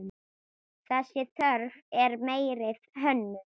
Þessi þörf eftir meiri hönnun.